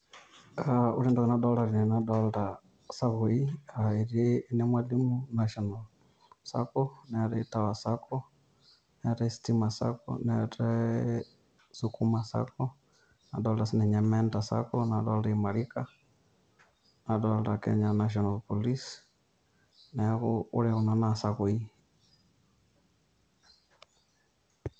Ore entoki nadolita tene nadolita isakoi, eti enemwalimu national sacco neetae tower sacco neetae stima sacco neetae sukuma sacco nadolita sininye mentor sacco nadolita imarika nadolita kenya national police neeku ore kuna naa isakoi.